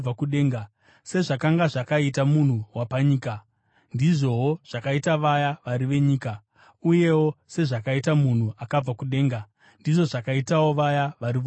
Sezvakanga zvakaita munhu wapanyika, ndizvowo zvakaita vaya vari venyika; uyewo sezvakaita munhu akabva kudenga, ndizvo zvakaitawo vaya vari vokudenga.